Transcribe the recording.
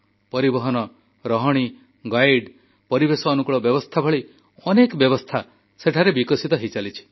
ପରିବହନ ରହଣି ଗାଇଡ୍ ପରିବେଶ ଅନୁକୂଳ ବ୍ୟବସ୍ଥା ଭଳି ଅନେକ ସୁବିଧା ସେଠାରେ ବିକଶିତ ହୋଇଚାଲିଛି